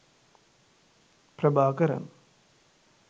prabakaran